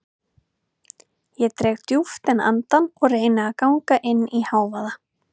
Ég dreg djúpt inn andann og reyni að ganga inn í hávaða